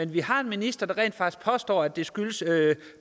vi har en minister der rent faktisk forstår at det skyldes